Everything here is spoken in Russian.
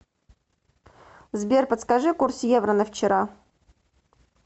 сбер подскажи курс евро на вчера